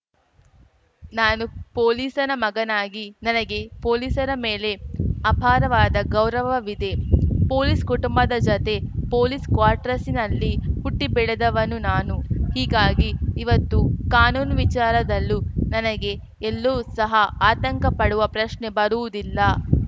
ನಾನು ಪೊಲೀಸನ ಮಗನಾಗಿ ನನಗೆ ಪೊಲೀಸರ ಮೇಲೆ ಅಪಾರವಾದ ಗೌರವವಿದೆ ಪೊಲೀಸ್‌ ಕುಟುಂಬದ ಜತೆ ಪೊಲೀಸ್‌ ಕ್ವಾರ್ಟರ್ಸ್‌ನಲ್ಲಿ ಹುಟ್ಟಿಬೆಳೆದವನು ನಾನು ಹೀಗಾಗಿ ಇವತ್ತು ಕಾನೂನು ವಿಚಾರದಲ್ಲೂ ನನಗೆ ಎಲ್ಲೂ ಸಹ ಆತಂಕ ಪಡುವ ಪ್ರಶ್ನೆ ಬರುವುದಿಲ್ಲ